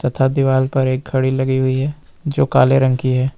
तथा दीवाल पर एक घड़ी लगी हुई है जो काले रंग की है।